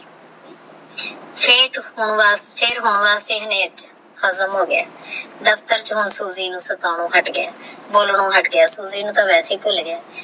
ਫਿਰ ਨੀ ਹੋ ਗਯਾ ਦੁਇਰ ਹਜਮ ਹੋ ਗਯਾ ਦਫਤਰ ਚ ਹੁਣ ਸੂਜੀ ਨੂ ਸਤਾਉਣ ਹਟ ਗਯਾ ਬੋਲਣ ਹਟ ਗਯਾ ਸੂਜੀ ਨੂ ਟੋਹ ਵੀ ਹੀ ਭੁਲ ਗਯਾ ਆਹ